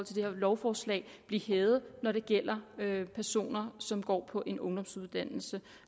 det her lovforslag blive hævet når det gælder personer som går på en ungdomsuddannelse